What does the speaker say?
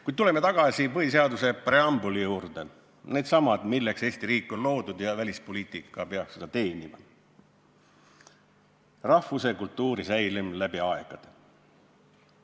Kuid tuleme tagasi põhiseaduse preambuli juurde, sellesama eesmärgi juurde, milleks Eesti riik on loodud ja mida välispoliitika peab teenima: rahvuse ja kultuuri säilimise tagamine läbi aegade.